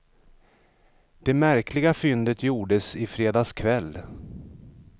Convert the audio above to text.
Det märkliga fyndet gjordes i fredags kväll.